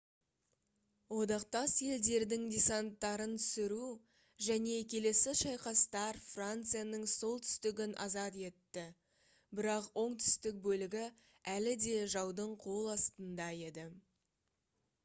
одақтас елдердің десанттарын түсіру және келесі шайқастар францияның солтүстігін азат етті бірақ оңтүстік бөлігі әлі де жаудың қол астында еді